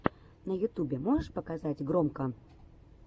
на ютубе можешь показать громко